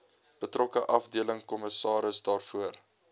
betrokke afdelingskommissaris daarvoor